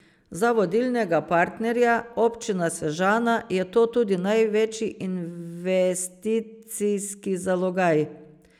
Za vodilnega partnerja, Občino Sežana, je to tudi največji investicijski zalogaj.